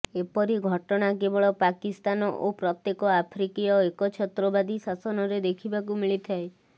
ଏପରି ଘଟଣା କେବଳ ପାକିସ୍ତାନ ଓ କେତେକ ଆଫ୍ରିକୀୟ ଏକଛତ୍ରବାଦୀ ଶାସନରେ ଦେଖିବାକୁ ମିଳିଥାଏ